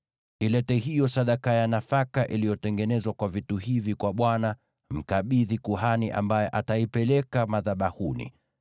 Ilete hiyo sadaka ya nafaka iliyotengenezwa kwa vitu hivi kwa Bwana ; mkabidhi kuhani ambaye ataipeleka madhabahuni.